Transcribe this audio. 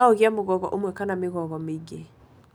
No ũgie mũgogo ũmwe kana mĩgogo mĩingĩ.